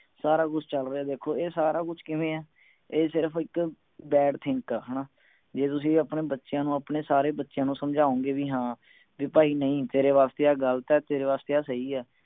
ਸਾਰਾ ਕੁਛ ਚਲ ਰਿਹੇ ਦੇਖੋ ਇਹ ਸਾਰਾ ਕੁਛ ਕਿਵੇਂ ਹੈ ਇਹ ਸਿਰਫ ਇਕ bad think ਆ ਹਣਾ ਜੇ ਤੁਸੀਂ ਆਪਣੇ ਬੱਚਿਆਂ ਨੂੰ ਆਪਣੇ ਸਾਰੇ ਬੱਚਿਆਂ ਨੂੰ ਸਮਝਾਉਣਗੇ ਵੀ ਹਾਂ ਵੀ ਭਾਈ ਨਹੀਂ ਤੇਰੇ ਵਾਸਤੇ ਆਹ ਗਲਤ ਹੈ ਤੇਰੇ ਵਾਸਤੇ ਆਹ ਸਹੀ ਹੈ